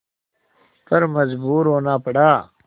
पर मजबूर होना पड़ा